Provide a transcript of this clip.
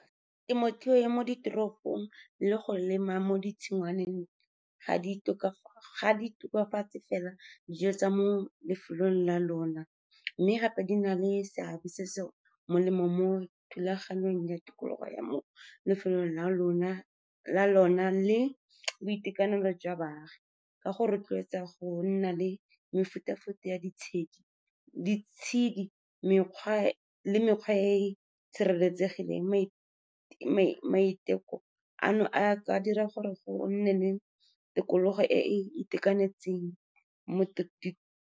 Temothuo ya mo ditoropong le go lema mo ditshingwaneng ga di tokafatse fela dijo tsa mo lefelong la lona, mme gape di na le seabe se se molemo mo thulaganyong ya tikologo ya mo lefelong la lona le boitekanelo jwa baagi, ka go rotloetsa go nna le mefuta-futa ya ditshedi le mekgwa e e sireletsegileng. Maiteko ana a ka dira gore go nne le tikologo e e itekanetseng mo .